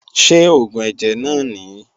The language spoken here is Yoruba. Ṣé oògùn ẹ̀jẹ̀ náà nìí?